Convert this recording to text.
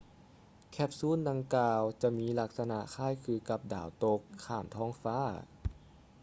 ແຄບຊູນດັ່ງກ່າວຈະມີລັກສະນະຄ້າຍຄືກັບດາວຕົກຂ້າມທ້ອງຟ້າ